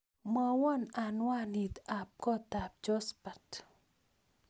Mwowon anwanit ab kotab Josphat